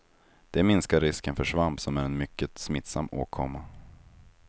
Det minskar risken för svamp som är en mycket smittsam åkomma.